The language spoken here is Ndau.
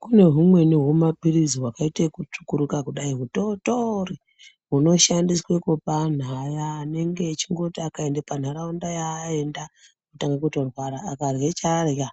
Kune humweni humapirizi hwakaite ekutsvukuruka kudai hutootori hunoshandiswe kupa anhu aya anenge echingoti akaenda panharaunda yaaenda otange kutorwara, akarye chaarya,